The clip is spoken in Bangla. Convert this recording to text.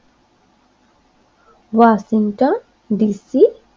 Washington DC